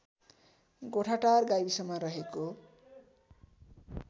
गोठाटार गाविसमा रहेको